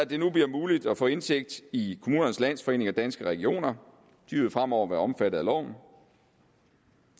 bliver nu muligt at få indsigt i kommunernes landsforening og danske regioner de vil fremover være omfattet af loven